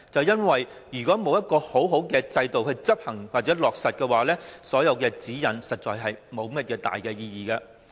如果沒有完善的制度來執行或落實，《規劃標準》實在沒有多大意義。